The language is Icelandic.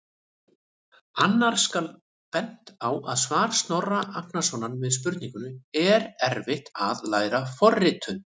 Annars skal bent á svar Snorra Agnarsson við spurningunni: Er erfitt að læra forritun?